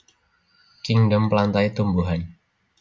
Kingdom Plantae Tumbuhan